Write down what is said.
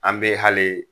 An bɛ hali